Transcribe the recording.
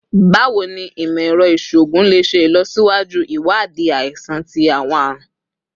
Bawo ni imọ-ẹrọ iṣoogun le ṣe ilọsiwaju iwadii aisan ti awọn arun?